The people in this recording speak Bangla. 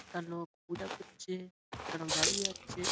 একটা লোক পূজা করছেএকটা লোক দাঁড়িয়ে আছে।